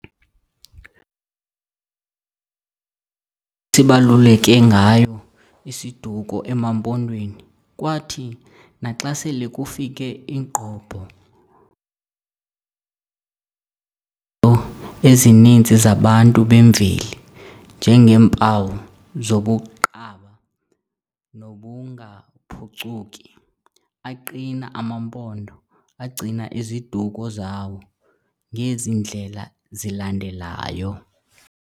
sibaluleke ngayo isiduko emaMpondweni, kwathi naxa sele kufike ingqobho ezininzi zabantu bemveli njengeempawu zobuqaba nobungaphucuki, aqina amaMpondo agcina iziduko zawo ngezi ndlela zilandelayo.